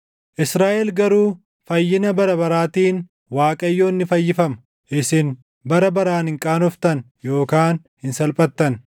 Israaʼel garuu fayyina bara baraatiin Waaqayyo ni fayyifama; isin bara baraan hin qaanoftan; yookaan hin salphattan.